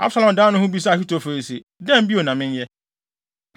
Absalom dan ne ho bisaa Ahitofel se, “Dɛn bio na menyɛ?”